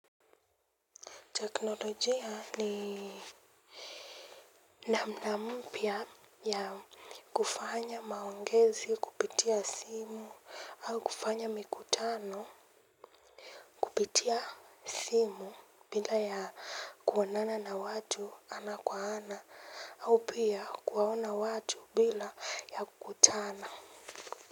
Teknolojia ni namna mpya ya kufanya maongezi kupitia simu au kufanya mikutano kupitia simu bila ya kuonana na watu ana kwa ana au pia kuwaona watu bila ya kukutana.